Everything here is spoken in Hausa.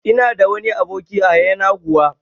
Ina da wani aboki a yanaguwa